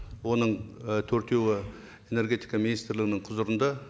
оның ы төртеуі энергетика министрлігінің құзырында